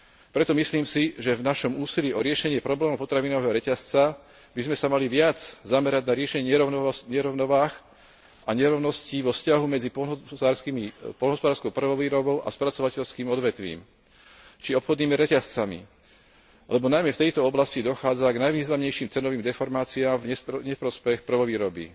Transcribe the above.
Preto si myslím, že v našom úsilí o riešenie problémov potravinového reťazca by sme sa mali viac zamerať na riešenie nerovnováh a nerovností vo vzťahu medzi poľnohospodárskou prvovýrobou a spracovateľským odvetvím či obchodnými reťazcami, lebo najmä v tejto oblasti dochádza k najvýznamnejším cenovým deformáciám v neprospech prvovýroby.